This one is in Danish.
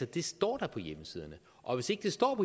det står da på hjemmesiderne og hvis ikke det står